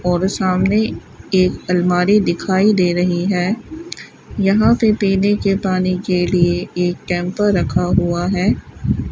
और सामने एक अलमारी दिखाई दे रही है यहां पे पीने के पानी के लिए एक कैम्पर रखा हुआ है।